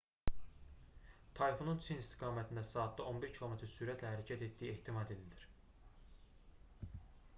tayfunun çin istiqamətində saatda 11 km sürətlə hərəkət etdiyi ehtimal edilir